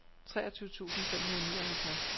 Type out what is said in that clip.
treogtyve tusind fem hundrede og nioghalvtreds